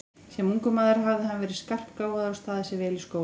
Sem ungur maður hafði hann verið skarpgáfaður og staðið sig vel í skóla.